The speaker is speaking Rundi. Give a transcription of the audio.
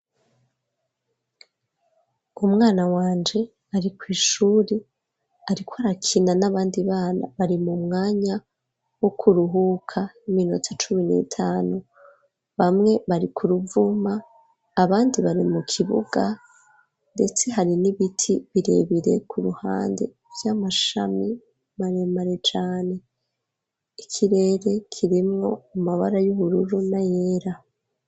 Umwana wanje ari kw'ishuri arik arakina n'abandi bana bari mu mwanya wo kuruhuka iminota cumi n'itanu bamwe bari ku ruvuma abandi bari mu kibuga ndetse hari n'ibiti birebire ku ruhande vy'amashami maremare cane ikirere kirimwo amabara y'ubururu na yera.